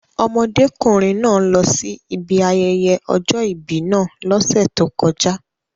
Ọmọdékùnrin náà lọsí ibi ayẹyẹ ọjọ́ ìbí náà lọ́sẹ̀ tó kọjá.